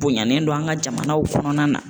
Bonyalen don an ka jamanaw kɔnɔna na.